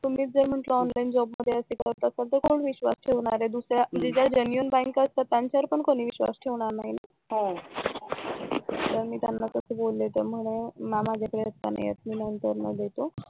तुम्हीच जर म्हंटल ऑनलाईन जॉब मध्ये असं करत असताल तर कोण विश्वास ठेवणार आहे ज्या genuine बँका असतात त्यांच्यावर पण कोणी विश्वास ठेवणार नाही मग मी त्यांना तसं बोलले तर म्हणाले मला जे तास बोलता नाही येत मी नंतर न देतो